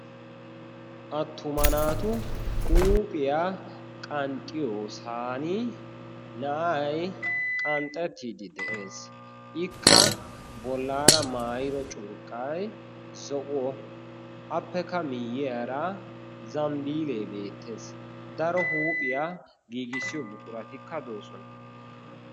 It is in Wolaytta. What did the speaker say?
attuma naatu huuphiyaa qanxxiyo saani na7ai qanxxettiiddi de7ees. ikka bollaara maayiro curqqai zo7o appekka miyyiyaara zambbiilee beettees. daro huuphiyaa giigissiyo buquratikka doosona.